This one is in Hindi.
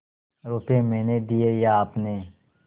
रुपये मैंने दिये या आपने